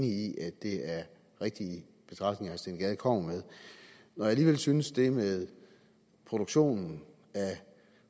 i at det er rigtige betragtninger herre steen gade kommer med når jeg alligevel synes at det med produktionen af